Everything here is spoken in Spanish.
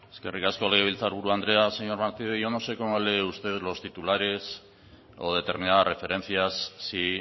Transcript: eskerrik asko legebiltzar buru andrea señor martínez yo no sé cómo lee usted los titulares o determinadas referencias si